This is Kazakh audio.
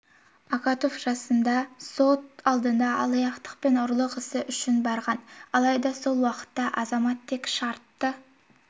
акатов жасында сот алдында алаяқтық пен ұрлық ісі үшін барған алайда сол уақытта азамат тек шартты